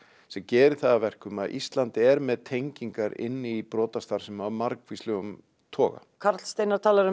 sem gerir það að verkum að Ísland er með tengingar inn í brotastarfsemi af margvíslegum toga karl Steinar talar um